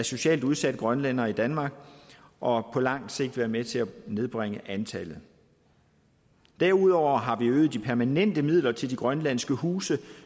socialt udsatte grønlændere i danmark og på langt sigt være med til at nedbringe antallet derudover har vi øget de permanente midler til de grønlandske huse